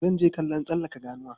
Zan je kallon tsallaka ganuwa.